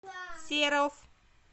серов